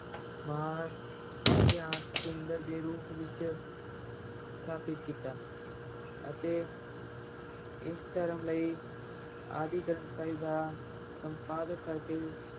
ਮਹਾਨ ਅਧਿਆਤ ਕੇਂਦਰ ਦੇ ਰੂਪ ਵਿੱਚ ਸਥਾਪਿਤ ਕੀਤਾ ਅਤੇ ਇਸ ਧਰਮ ਲਈ ਆਦਿ ਗ੍ਰੰਥ ਸਾਹਿਬ ਦਾ ਸੰਪਾਦਨ ਕਰਕੇ